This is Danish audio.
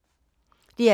DR K